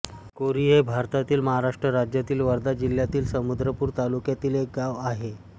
कोरी हे भारतातील महाराष्ट्र राज्यातील वर्धा जिल्ह्यातील समुद्रपूर तालुक्यातील एक गाव आहे